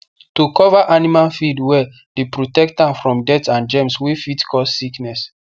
to cover animal feed well dey protect am from dirt and germs wey fit cause sickness